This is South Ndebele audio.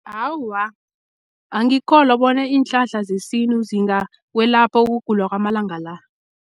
Awa, angikholwa bona iinhlahla zesintu zingakwelapha ukugula kwamalanga la.